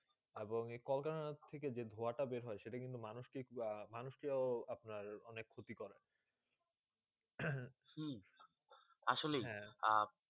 এবং কলকরখানা থেকে যে ধুয়া তা বের হয়ে সেটা কিন্তু মানুষ মানুষ কে আপনার অনেক ক্ষতি করে আসলে হেঁ আ